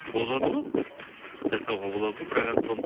болады ғой жасауға болады ғой бірақ енді соны